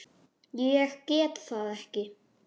Ég get það ekki